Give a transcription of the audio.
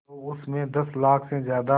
तो उस में दस लाख से ज़्यादा